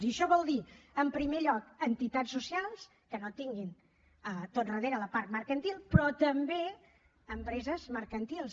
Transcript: i això vol dir en primer lloc entitats socials que no tinguin tot darrere la part mercantil però també empreses mercantils